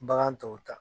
Bagan tɔw ta